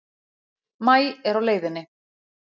Maí er á leiðinni.